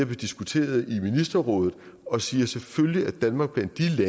diskuteret i ministerrådet og siger selvfølgelig er danmark blandt de